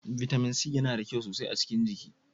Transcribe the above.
Vitamin C yana da kyau sosai a cikin jiki.